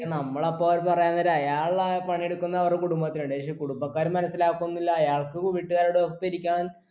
ക്ഷെ നമ്മളപ്പോൾന്ന് പറയാൻ നേരം അയാൾ ആ പണിയെടുക്കുന്നെ അവരെ കുടുംബത്തിന് വേണ്ടിയാ പക്ഷെ കുടുംബക്കാര് മനസ്സിലാക്കുന്നില്ല അയാൾക്ക് വീട്ടുകാരെ ഒപ്പം ഇരിക്കാൻ